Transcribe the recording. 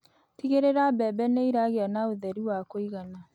Tigĩrĩra mbembe nĩ iragĩa na ũtheri wakuigana